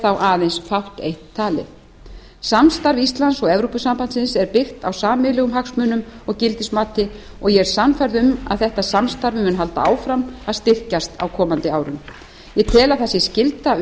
þá aðeins fátt eitt talið samstarf íslands og evrópusambandsins er byggt á sameiginlegum hagsmunum og gildismati og ég er sannfærð um að þetta samstarf mun halda áfram að styrkjast á komandi árum ég tel að það sé skylda